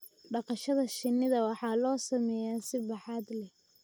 dhaqashada shinnida waxaa loo sameeyaa si baaxad leh,